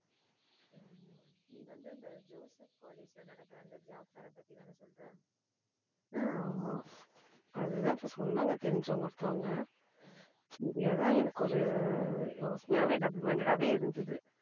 ஹம் ஆமா அதுதான் இப்ப சொன்னாங்க தெரிஞ்சவங்க ஒருத்தவங்க சரி அதான் எனக்கு ஒரு யோசனையாகவே double minded ஆவே இருந்தது.